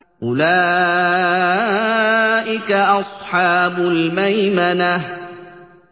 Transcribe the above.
أُولَٰئِكَ أَصْحَابُ الْمَيْمَنَةِ